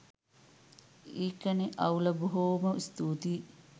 ඒකනෙ අවුල බොහොම ස්තූතියි